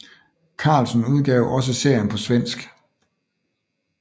Carlsen udgav også serien på svensk